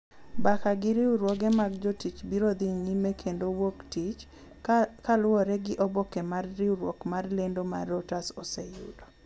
Mbaka gi riwruoge mag jotich biro dhi nyime kendo wuok tich ,kaluwore gi oboke ma riwruok mar lendo mar reuters oseyudo.